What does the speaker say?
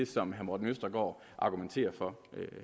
som herre morten østergaard argumenterer for